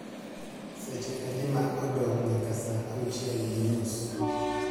seche adi ma odong’ nyaka saa auchiel gi nus?